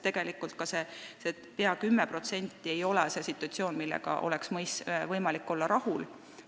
Tegelikult ei ole praegune situatsioon, mida iseloomustab see pea 10%, sugugi selline, millega oleks võimalik rahul olla.